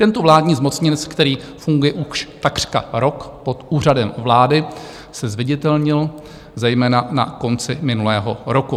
Tento vládní zmocněnec, který funguje už takřka rok pod Úřadem vlády, se zviditelnil zejména na konci minulého roku.